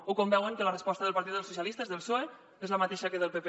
o quan veuen que la resposta del partit dels socialistes del psoe és la mateixa que la del pp